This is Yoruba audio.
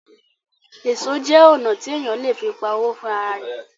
Èso jẹ́ ọnà tí èèyàn le fi pa owó fún ara rẹ̀